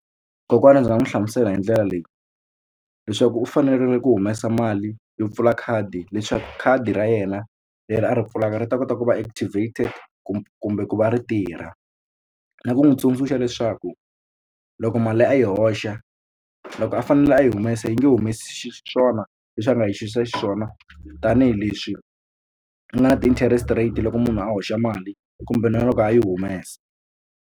Kokwana ndzi nga n'wi hlamusela hi ndlela leyi leswaku u fanerile ku humesa mali yo pfula khadi leswaku khadi ra yena leri a ri pfulaka ri ta kota ku va activated kumbe ku va ri tirha na ku n'wi tsundzuxa leswaku loko mali a yi hoxa loko a fanele a yi humesa yi nge humesi xiswona leswi a nga yi xiyisisisa xiswona tanihileswi u nga na ti-interest rate loko munhu a hoxa mali kumbe na loko a yi humesa.